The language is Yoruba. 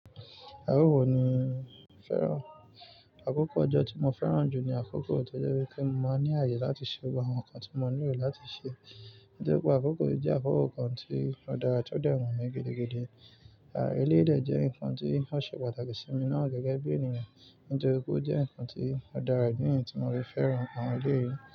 À o wo ni o fẹ́ràn. Àkókò ọjọ́ tí mo fẹ́ràn jù ní àkókò tó jẹ́ wípé mo máa ń ní àyè láti ṣe gbogbo àwọn nǹkan tí mo nílò láti ṣe. Nítorí pé àkókò yìí jẹ́ àkókò kan tí ó dára, tó dẹ́ wu mí gidigidi. À eleyi de jẹ́ nǹkan tí ó ṣe pàtàkì sí mi náà gẹ́gẹ́ bí ènìyàn. Nítorí pé ó jẹ́ nǹkan tí ó dára idi niyí tí mo fi fẹ́ràn àwọn eleyi.